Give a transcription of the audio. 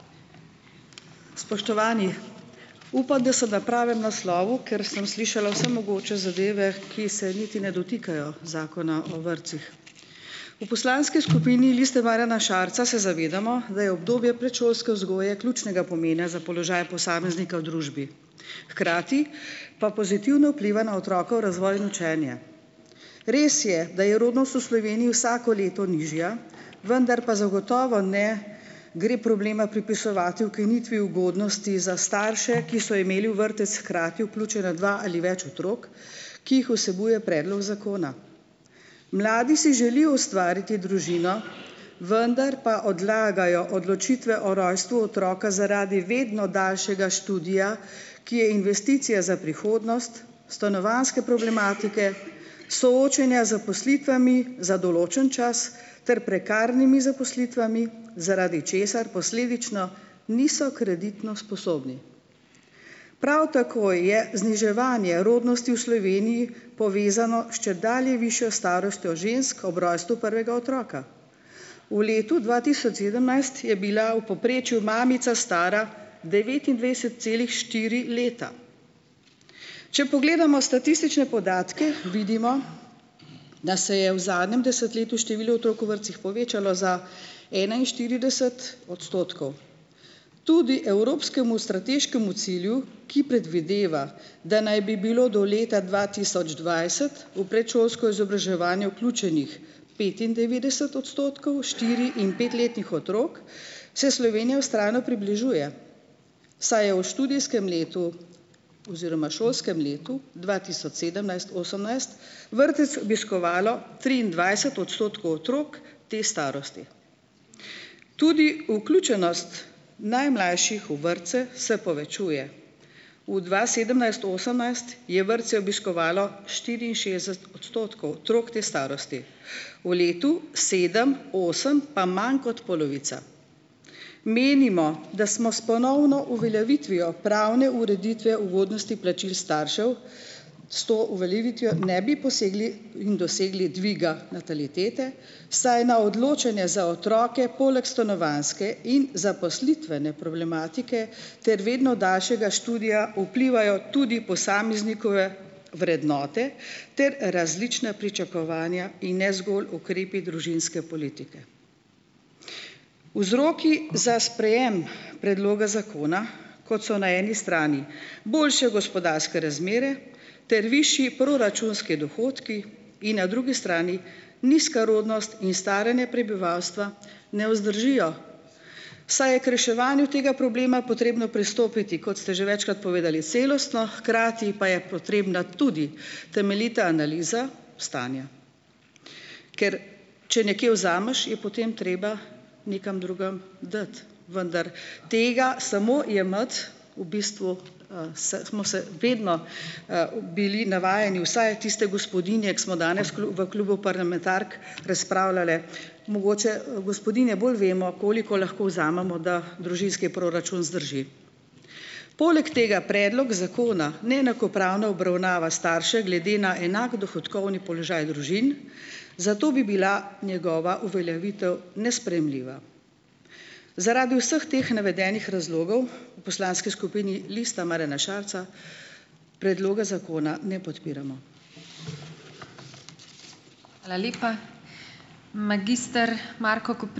Spoštovani! Upam, da sem na pravem naslovu, ker sem slišala vse mogoče zadeve, ki se niti ne dotikajo Zakona o vrtcih. V poslanski skupini Liste Marjana Šarca se zavedamo, da je obdobje predšolske vzgoje ključnega pomena za položaj posameznika v družbi. Hkrati pa pozitivno vpliva na otrok razvoj in učenje. Res je, da je rodnost v Sloveniji vsako leto nižja, vendar pa zagotovo ne gre problema pripisovati ukinitvi ugodnosti za starše, ki so imeli v vrtec hkrati vključena dva ali več otrok, ki jih vsebuje predlog zakona. Mladi si želijo ustvariti družino, vendar pa odlagajo odločitve o rojstvu otroka zaradi vedno daljšega študija, ki je investicija za prihodnost, stanovanjske problematike, soočenja z zaposlitvami za določen čas ter prekarnimi zaposlitvami, zaradi česar posledično niso kreditno sposobni. Prav tako je zniževanje rodnosti v Sloveniji povezano s čedalje višjo starostjo žensk ob rojstvu prvega otroka. V letu dva tisoč sedemnajst je bila v povprečju mamica stara devetindvajset celih štiri leta. Če pogledamo statistične podatke, vidimo da se je v zadnjem desetletju število otrok v vrtcih povečalo za enainštirideset odstotkov. Tudi evropskemu strateškemu cilju, ki predvideva, da naj bi bilo do leta dva tisoč dvajset v predšolsko izobraževanje vključenih petindevetdeset odstotkov štiri- in petletnih otrok, se Slovenija vztrajno približuje, saj je v študijskem letu oziroma šolskem letu dva tisoč sedemnajst-osemnajst vrtec obiskovalo triindvajset odstotkov otrok te starosti. Tudi vključenost najmlajših v vrtce se povečuje. V dva sedemnajst-osemnajst je vrtce obiskovalo štiriinšestdeset odstotkov otrok te starosti. V letu sedem, osem pa manj kot polovica. Menimo, da smo s ponovno uveljavitvijo pravne ureditve ugodnosti plačil staršev s to uveljavitvijo ne bi posegli in dosegli dviga natalitete, saj na odločanje za otroke poleg stanovanjske in zaposlitvene problematike ter vedno daljšega študija vplivajo tudi posameznikove vrednote ter različna pričakovanja in ne zgolj ukrepi družinske politike. Vzroki za sprejem predloga zakona, kot so na eni strani boljše gospodarske razmere ter višji proračunski dohodki in na drugi strani nizka rodnost in staranje prebivalstva, ne vzdržijo, saj je k reševanju tega problema potrebno pristopiti, kot ste že večkrat povedali, celostno, hkrati pa je potrebna tudi temeljita analiza stanja. Ker če nekje vzameš, je potem treba nekam drugam dati, vendar tega samo jemati, v bistvu, s smo se vedno, v, bili navajeni vsaj tiste gospodinje, ko smo danes v klubu parlamentark razpravljale, mogoče, gospodinje bolj vemo, koliko lahko vzamemo, da družinski proračun zdrži. Poleg tega predlog zakona neenakopravno obravnava starše glede na enak dohodkovni položaj družin, zato bi bila njegova uveljavitev nesprejemljiva. Zaradi vseh teh navedenih razlogov v poslanski skupini Lista Marjana Šarca predloga zakona ne podpiramo.